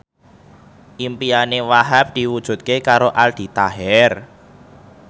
impine Wahhab diwujudke karo Aldi Taher